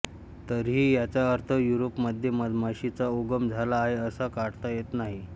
तरीही याचा अर्थ युरोपमध्ये मधमाशीचा उगम झाला आहे असा काढता येत नाही